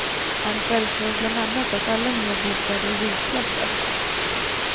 Han föreslår bland annat att alla nya bostäder ljudklassas.